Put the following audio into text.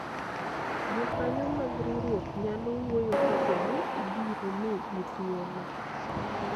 jokanyo mag riwruok nyalo wuoyo kapo ni ibiro migi thuolo